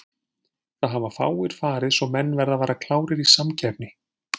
Það hafa fáir farið svo menn verða að vera klárir í samkeppni.